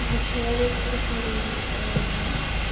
для человека который